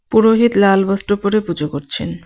পুরোহিত লাল বস্ত্র পড়ে পুজো করছেন.